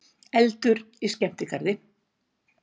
Eldur í skemmtigarði